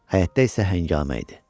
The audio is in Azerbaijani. Həyətdə isə həngamə idi.